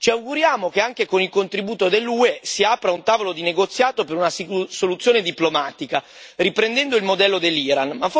Ci auguriamo che, anche con il contributo dell'UE, si apra un tavolo di negoziato per una soluzione diplomatica, riprendendo il modello dell'Iran.